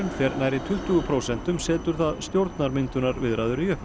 fer nærri tuttugu prósentum setur það stjórnarmyndunarviðræður í uppnám